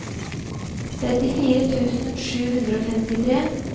trettifire tusen sju hundre og femtitre